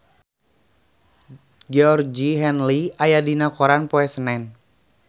Georgie Henley aya dina koran poe Senen